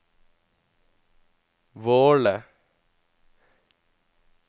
Våle